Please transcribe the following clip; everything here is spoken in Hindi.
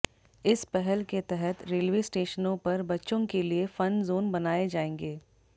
इस पहल के तहत रेलवे स्टेशनों पर बच्चों के लिए फन ज़ोन बनाए जाएंगे